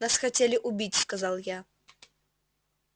нас хотели убить сказал я